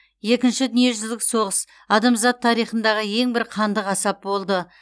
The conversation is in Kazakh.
екінші дүниежүзілік соғыс адамзат тарихындағы ең бір қанды қасап болды